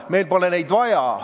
Meil pole neid vaja.